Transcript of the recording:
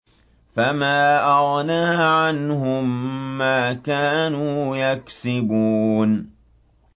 فَمَا أَغْنَىٰ عَنْهُم مَّا كَانُوا يَكْسِبُونَ